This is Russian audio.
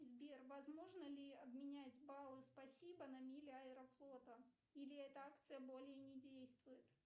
сбер возможно ли обменять баллы спасибо на мили аэрофлота или эта акция более не действует